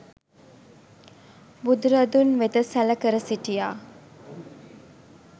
බුදුරදුන් වෙත සැලකර සිටියා.